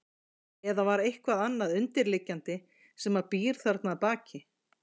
Eða var eitthvað annað undirliggjandi sem að býr þarna að baki?